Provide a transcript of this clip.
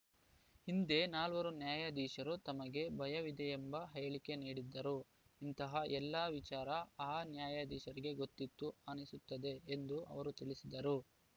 ಹಿಂದೆ ನಾಲ್ವರು ನ್ಯಾಯಾಧೀಶರು ತಮಗೆ ಭಯವಿದೆಯೆಂಬ ಹೇಳಿಕೆ ನೀಡಿದ್ದರು ಇಂತಹ ಎಲ್ಲಾ ವಿಚಾರ ಆ ನ್ಯಾಯಾಧೀಶರಿಗೆ ಗೊತ್ತಿತ್ತು ಅನಿಸುತ್ತದೆ ಎಂದು ಅವರು ತಿಳಿಸಿದರು